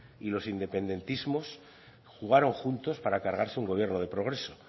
y los independentismos jugaron juntos para cargarse un gobierno de progreso